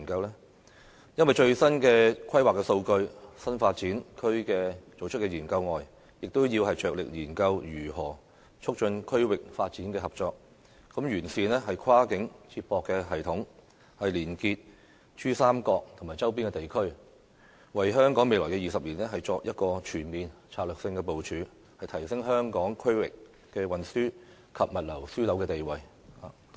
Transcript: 因為根據最新的規劃數據，除了要就新發展區進行研究外，亦要着力研究如何促進區域發展和合作，透過完善跨境接駁系統，連結珠三角及周邊地區，為香港未來20年作全面的策略性部署，從而提升香港作為區域運輸及物流樞紐的地位。